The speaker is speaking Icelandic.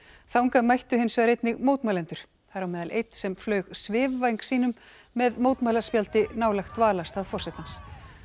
þangað mættu hins vegar einnig mótmælendur þar á meðal einn sem flaug svifvæng sínum með nálægt dvalarstað forsetans